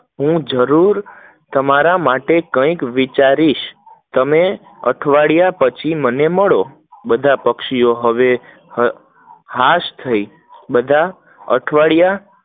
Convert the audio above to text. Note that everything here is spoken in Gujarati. હું જરૂર તમારા માટે કંઈક વિચારીશ, તમે પછી મને મળો, બધા પક્ષીઓ હવે હાશ થઇ, બધા અઠવાડિયા